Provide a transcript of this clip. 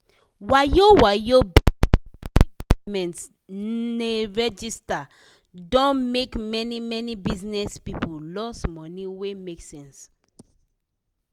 wayo-wayo bizness wey govment ne register don make many-many bizness people loss money wey make sense.